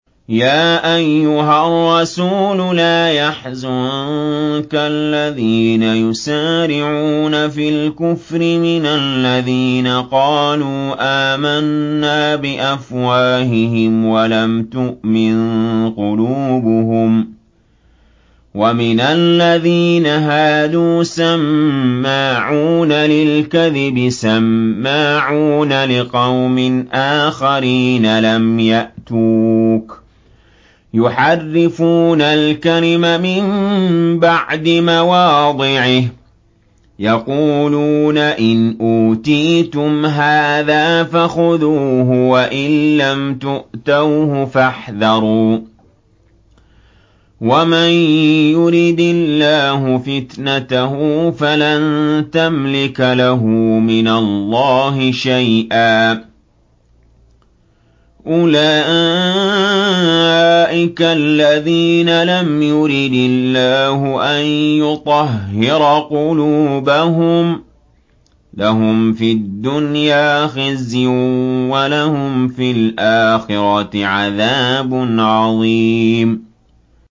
۞ يَا أَيُّهَا الرَّسُولُ لَا يَحْزُنكَ الَّذِينَ يُسَارِعُونَ فِي الْكُفْرِ مِنَ الَّذِينَ قَالُوا آمَنَّا بِأَفْوَاهِهِمْ وَلَمْ تُؤْمِن قُلُوبُهُمْ ۛ وَمِنَ الَّذِينَ هَادُوا ۛ سَمَّاعُونَ لِلْكَذِبِ سَمَّاعُونَ لِقَوْمٍ آخَرِينَ لَمْ يَأْتُوكَ ۖ يُحَرِّفُونَ الْكَلِمَ مِن بَعْدِ مَوَاضِعِهِ ۖ يَقُولُونَ إِنْ أُوتِيتُمْ هَٰذَا فَخُذُوهُ وَإِن لَّمْ تُؤْتَوْهُ فَاحْذَرُوا ۚ وَمَن يُرِدِ اللَّهُ فِتْنَتَهُ فَلَن تَمْلِكَ لَهُ مِنَ اللَّهِ شَيْئًا ۚ أُولَٰئِكَ الَّذِينَ لَمْ يُرِدِ اللَّهُ أَن يُطَهِّرَ قُلُوبَهُمْ ۚ لَهُمْ فِي الدُّنْيَا خِزْيٌ ۖ وَلَهُمْ فِي الْآخِرَةِ عَذَابٌ عَظِيمٌ